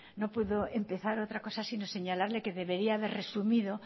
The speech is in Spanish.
no puedo empezar otra cosa sino señalarle que debería haber resumido